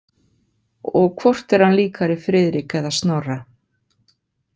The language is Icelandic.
Og hvort er hann líkari Friðrik eða Snorra?